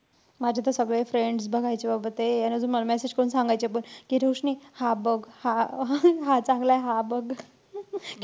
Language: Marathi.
माझे तर सगळे friends बघायचे बाबा ते. आणि अजून मला messsage करून सांगायचे कि रोशनी हा बघ, हा हा चांगलाय हा बघ.